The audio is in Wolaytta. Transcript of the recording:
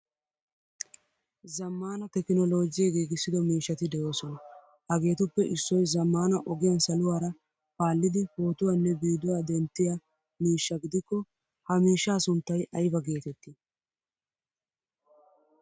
Zammaana tekinollojje giigisido miishshatti deosona. Hagettuppe issoy zammaana ogiyan saluwaara paalidi pootuwaanne viiduwwa denttiyaa miishsha gidikko ha miishshaa sunttay ayba geetetti?